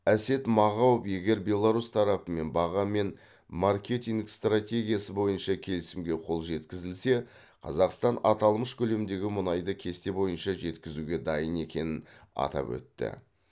әсет мағауов егер беларусь тарапымен баға мен маркетинг стратегиясы бойынша келісімге қол жеткізілсе қазақстан аталмыш көлемдегі мұнайды кесте бойынша жеткізуге дайын екенін атап өтті